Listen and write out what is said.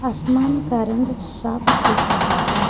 आसमान का रंग साफ दिख रहा है।